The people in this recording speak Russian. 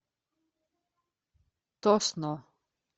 тосно